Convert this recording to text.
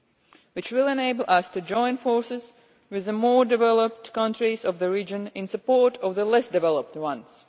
These will enable us to join forces with the more developed countries of the region in support of the less developed ones.